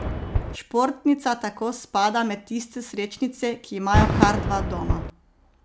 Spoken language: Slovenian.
Športnica tako spada med tiste srečnice, ki imajo kar dva doma.